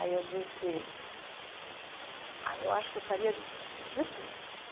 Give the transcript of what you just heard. Aí eu disse... Ah, eu acho que eu faria de tudo.